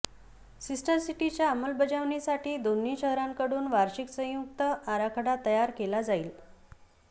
sister सिटीच्या अंमलबजावणीसाठी दोन्ही शहरांकडून वार्षिक संयुक्त आराखडा तयार केला जाईल